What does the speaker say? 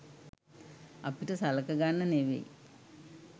අපිට සලකගන්න නෙවෙයි